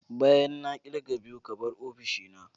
Bayan na kirga biyu ka bar ofishina.